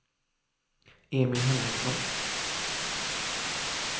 Emil Henriksson